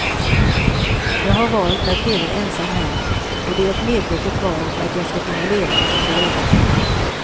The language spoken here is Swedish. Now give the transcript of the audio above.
Jag har valt att leva ensam här, och det är ett medvetet val för att jag ska kunna leva som jag gör.